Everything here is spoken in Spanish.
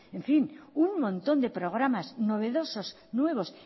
en fin un montón de programas novedosos nuevos